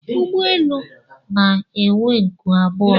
ụgbọelu elu na-enwe nku abụọ